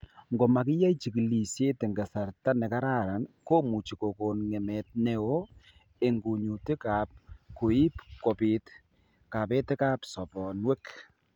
Ngomakiyai chigilishet eng' kasarta nekararan komuchi kokon ng'emet neoo eng' kunyutik ak koib kobit kabetetab sobonwek